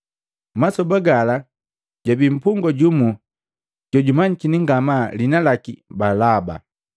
Masoba gala jwabi mpungwa jumu jojwamanyikini ngamaa, liina laki Balaba.